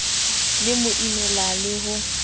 le mo imela le ho